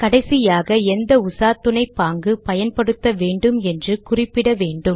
கடைசியாக எந்த உசாத்துணை பாங்கு பயன்படுத்த வேண்டும் என்று குறிப்பிட வேண்டும்